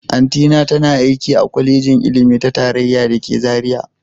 Auntyna tana aiki a Kwalejin Ilimi ta Tarayya da ke Zaria